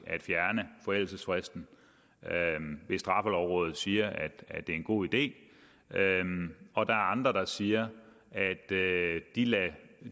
at fjerne forældelsesfristen hvis straffelovrådet siger at det er en god idé og der er andre der siger at